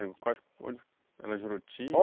Quais, onde, era em Juruti?